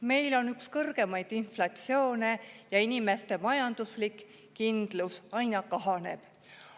Meil on üks kõrgemaid inflatsioone ja inimeste majanduslik kindlus aina kahaneb.